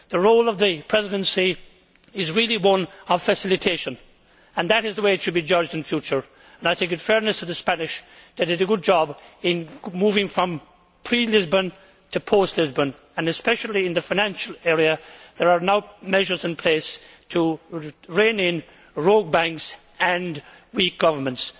The role of the Presidency is really one of facilitation, and that is the way it should be judged in future. In fairness to the Spanish, they did a good job in moving from pre Lisbon to post Lisbon. Especially in the financial area, there are now measures in place to rein in rogue banks and weak governments.